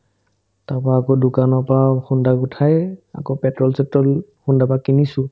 তাৰপৰা আকৌ দোকানৰ পৰা খুন্দা গোট খাইয়ে আকৌ পেট্ৰ'ল-চেট্ৰ'ল খুন্দাৰ পৰা কিনিছো